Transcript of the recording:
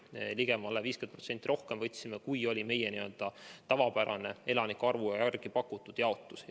Võtsime ligemale 50% rohkem, kui oli meie tavapärane elanike arvu järgi pakutud kogus.